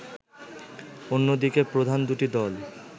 অন্যদিকে প্রধান দুটি দল